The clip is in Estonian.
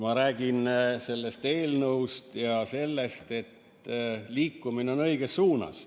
Ma räägin sellest eelnõust ja sellest, et liikumine on õiges suunas.